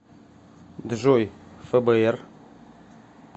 джой фбр